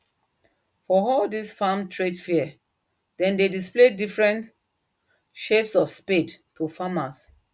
for all this farm trade fair them dey display different shape of spade to farmers